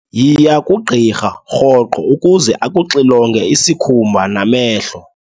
Yiya kugqirha rhoqo ukuze akuxilonge isikhumba namehlo.